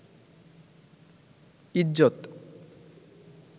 ইজ্জত